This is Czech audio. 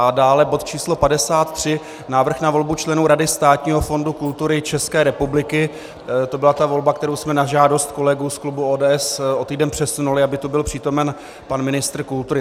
A dále bod číslo 53, Návrh na volbu členů Rady Státního fondu kultury České republiky, to byla ta volba, kterou jsme na žádost kolegů z klubu ODS o týden přesunuli, aby tu byl přítomen pan ministr kultury.